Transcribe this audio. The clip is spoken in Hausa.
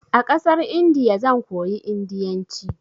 A ƙasar Indiya zan koyi indiyanci.